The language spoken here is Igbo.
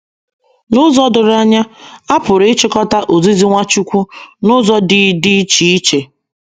N’ụzọ doro anya, a pụrụ ịchịkọta ozizi Nwachukwu n’ụzọ dị dị iche iche.